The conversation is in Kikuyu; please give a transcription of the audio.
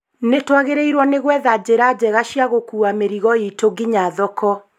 Nĩtwagĩrĩirwo nĩ gwetha njĩra njega cia gũkua mĩrigo itũ nginya thoko